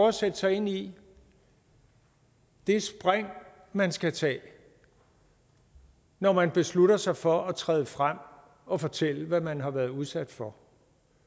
at sætte sig ind i det spring man skal tage når man beslutter sig for at træde frem og fortælle hvad man har været udsat for